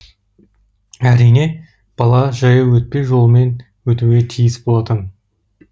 әрине бала жаяу өтпе жолымен өтуге тиіс болатын